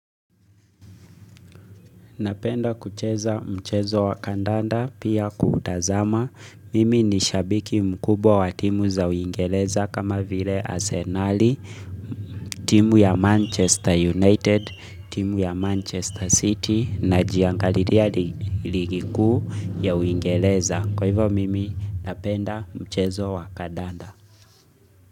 Napenda kucheza mchezo wa kandanda pia kutazama. Mimi ni shabiki mkubwa wa timu za uingeleza kama vile asenali, timu ya Manchester United, timu ya Manchester City najiangalilia ligi kuu ya uingeleza. Kwa hivo mimi napenda mchezo wa kandanda.